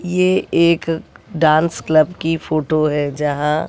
ये एक dance club की फोटो है यहां--